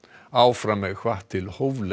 áfram er hvatt til hóflegrar